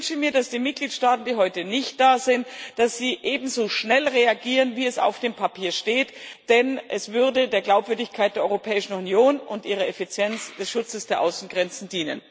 Ich wünsche mir, dass die Mitgliedstaaten, die heute nicht da sind, ebenso schnell reagieren, wie es auf dem Papier steht, denn es würde der Glaubwürdigkeit der Europäischen Union und der Effizienz des Schutzes ihrer Außengrenzen dienen.